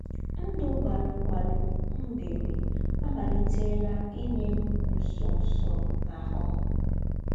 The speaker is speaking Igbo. Ndụ̀ gbàlụ̀ gbàlụ̀ m̀ bìrì ámàlìtèlà ínyè m̀ ńsọ̀nsọ̀ n’áhụ̀.